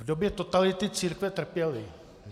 V době totality církve trpěly.